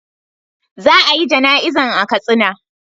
Za a yi jana'izan a katsina.